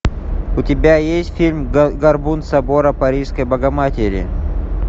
у тебя есть фильм горбун собора парижской богоматери